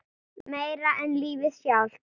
Meira en lífið sjálft.